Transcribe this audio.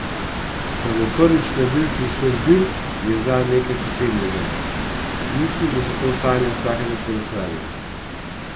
Da bo prvič na dirki vseh dirk, je zanj nekaj posebnega: "Mislim, da so to sanje vsakega kolesarja.